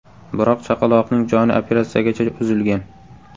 Biroq chaqaloqning joni operatsiyagacha uzilgan.